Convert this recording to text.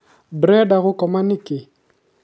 ndũrenda gũkoma nĩkĩ?